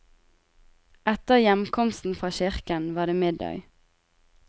Etter heimkomsten fra kirka var det middag.